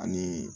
Ani